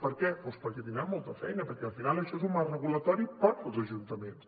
per què doncs perquè tindran molta feina perquè al final això és un marc regulatori per als ajuntaments